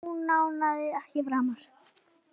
Hann ónáðar þig ekki framar.